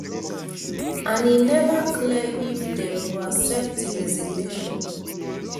and e neva clear if dem go accept di resignation